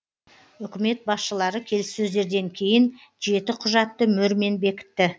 үкімет басшылары келіссөздерден кейін жеті құжатты мөрмен бекітті